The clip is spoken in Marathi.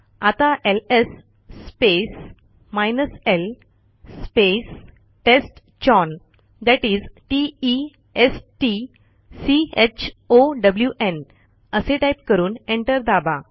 आता LS space l space test chown that is t e s t c h o w न् असे टाईप करून एंटर दाबा